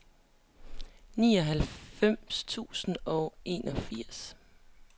nioghalvfems tusind og enogfirs